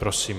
Prosím.